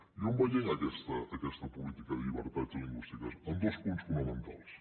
i on veiem aquesta política de llibertats lingüístiques en dos punts fonamentals